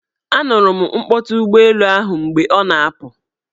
A nụrụ m mkpọtụ ụgbọelu ahụ mgbe ọ na-apụ.